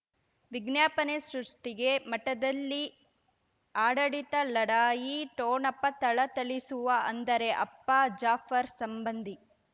ವಿಜ್ಞಾಪನೆ ಸೃಷ್ಟಿಗೆ ಮಠದಲ್ಲಿ ಆಡಳಿತ ಲಢಾಯಿ ಠೋಣಪ ಥಳಥಳಿಸುವ ಅಂದರೆ ಅಪ್ಪ ಜಾಫರ್ ಸಂಬಂಧಿ